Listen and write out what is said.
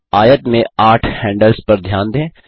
आयत में आठ हैंडल्स पर ध्यान दें